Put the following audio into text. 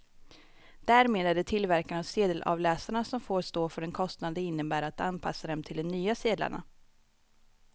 Därmed är det tillverkarna av sedelavläsarna som får stå för den kostnad det innebär att anpassa dem till de nya sedlarna.